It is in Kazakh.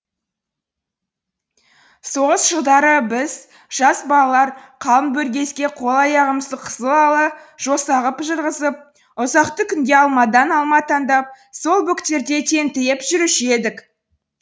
соғыс жылдары біз жас балалар қалың бөргезге қол аяғымызды қызыл ала жоса ғып жырғызып ұзақты күнге алмадан алма таңдап сол бөктерде тентіреп жүруші едік